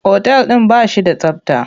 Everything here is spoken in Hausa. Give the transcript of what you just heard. Otal ɗin ba shi da tsabta.